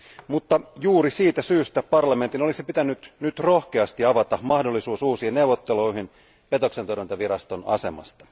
Mutta juuri siitä syystä parlamentin olisi pitänyt nyt rohkeasti avata mahdollisuus uusiin neuvotteluihin petoksentorjuntaviraston asemasta.